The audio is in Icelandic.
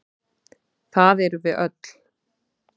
Það erum við öll.